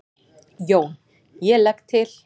JÓN: Ég legg til.